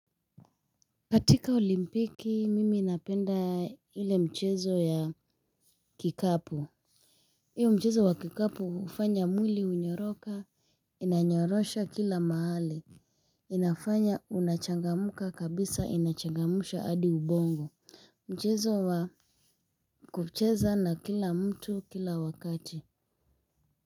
Katika olimpiki mimi napenda ile mchezo ya kikapu. Iyo mchezo wa kikapo hufanya mwili unyoroka inanyorosha kila mahali. Inafanya unachangamka kabisa inachangamsha hadi ubongo. Mchezo wa kucheza na kila mtu kila wakati.